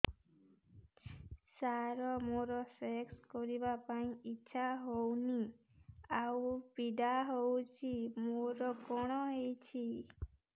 ସାର ମୋର ସେକ୍ସ କରିବା ପାଇଁ ଇଚ୍ଛା ହଉନି ଆଉ ପୀଡା ହଉଚି ମୋର କଣ ହେଇଛି